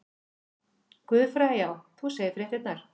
Guðfræði já, þú segir fréttirnar!